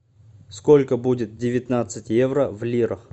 сколько будет девятнадцать евро в лирах